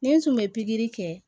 Ni n tun bɛ pikiri kɛ